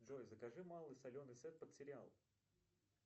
джой закажи малый соленый сет под сериал